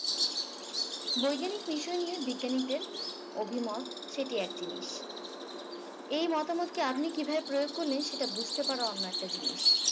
বৈজ্ঞানিক বিষয় নিয়ে বিজ্ঞানীদের অভিমত সেটি এক জিনিস এই মতামতকে আপনি কিভাবে প্রয়োগ করলেন সেটা বুঝতে পারা অন্য একটা জিনিস